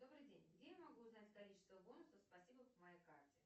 добрый день где я могу узнать количество бонусов спасибо по моей карте